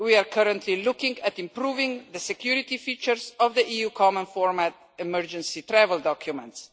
We are currently looking at improving the security features of the EU common format emergency travel documents.